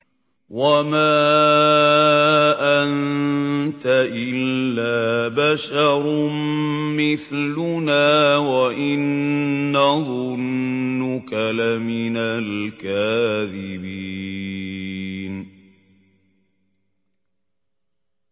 وَمَا أَنتَ إِلَّا بَشَرٌ مِّثْلُنَا وَإِن نَّظُنُّكَ لَمِنَ الْكَاذِبِينَ